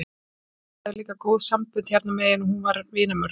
Geirþrúður hafði líka góð sambönd hérna megin og hún var vinmörg.